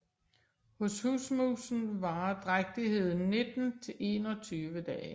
Hos husmusen varer drægtigheden 19 til 21 dage